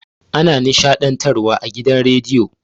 Ana nishaɗntar wa a gidan radiyo